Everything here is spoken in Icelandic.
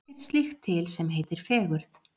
Það er ekkert slíkt til sem heitir fegurð.